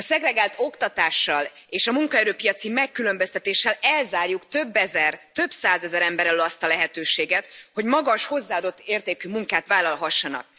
A szegregált oktatással és a munkaerőpiaci megkülönböztetéssel elzárjuk több ezer, több százezer ember elől azt a lehetőséget, hogy magas hozzáadott értékű munkát vállalhassanak.